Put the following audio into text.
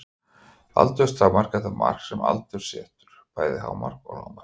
Aldurstakmark er það mark sem aldurinn setur, bæði hámark og lágmark.